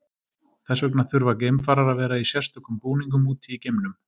Þess vegna þurfa geimfarar að vera í sérstökum búningum úti í geimnum.